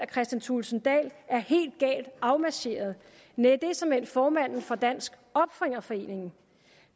kristian thulesen dahl er helt galt afmarcheret nej det er såmænd formanden for dansk opfinderforening